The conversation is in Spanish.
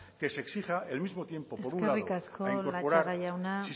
que se exija el mismo tiempo por un lado eskerrik asko latxaga jauna